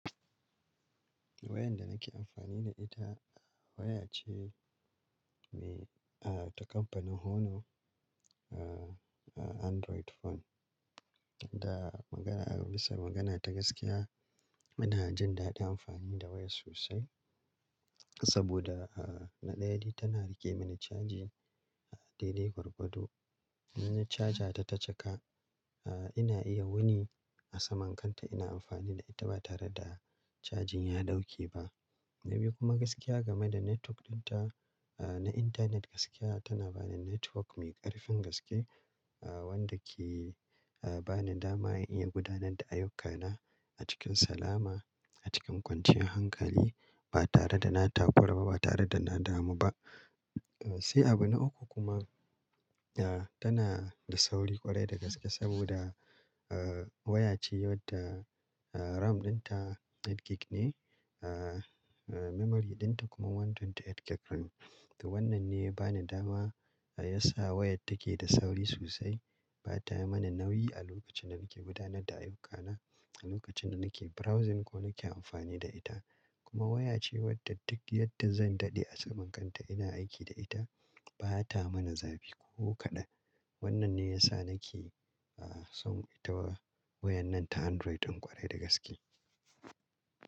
Wayar da nake amfani da ita waya ce mai-- ah, ta kamfanin Honor, ah, Android phone. Da magana-- idan bisa magana ta gaskiya, ina jin daɗin amfani da wayar sosai saboda, ah, na ɗaya dai tana riƙe mini chaji daidai gwargwado. Inna chaja ta ta cika, ah, ina iya wuni a saman kanta ina amfani da ita ba tare da chajin ya ɗauke ba. Na biyu kuma gaskiya game da network ɗinta, ah, na intanet gaskiya tana bani network mai ƙarfin gaske, ah, wanda ke, ah, bani dama in iya gudanar da ayyukana a cikin salama a cikin kwanciyar hankali ba tare da na tafarkar ba, ba tare da na damu ba. Sai abu na uku kuma, ah, tana da sauri ƙwarai da gaske saboda, ah, waya ce wadda, ah, RAM ɗinta gigabaiti takwas ne, ah, memory ɗinta kuma gigabaiti ɗari da ashirin da takwas. To wannan ne ya bani dama ya sa wayar take da sauri sosai. Ba ta yi mana nauyi a lokacin da nake gudanar da ayyukana, a lokacin da nake browsing ko nake amfani da ita. Kuma waya ce wadda duk yadda zan daɗe a saman kanta ina aiki da ita, ba ta mana zafi ko kaɗan. Wannan ne ya sa nake, ah, son ita waya nan ta Android ƙwarai da gaske.